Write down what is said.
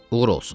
Uğur olsun.